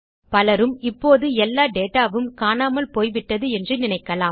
பலரும் இப்போது எல்லா டேட்டா வும் காணாமல் போய் விட்டது என்று நினைக்கலாம்